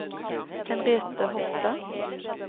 Henriette Hofstad